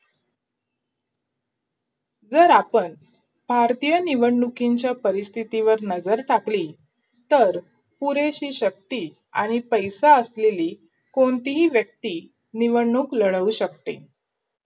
जर आपण भारतीय निवडणूकीच्या परिस्थितीवर नजर टाकली तर, पुरेशी शक्ती आणि पैसा असलेली कोणतीही व्यक्ती निवडणूक लढवू शकते,